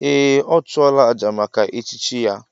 Ee! Ọ chụọla àjà maka echichi ya.